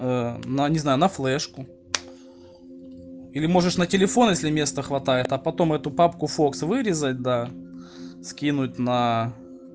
ээ но не знаю на флешку или можешь на телефон если места хватает а потом эту папку фокс вырезать да скинуть на